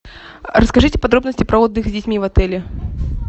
расскажите подробности про отдых с детьми в отеле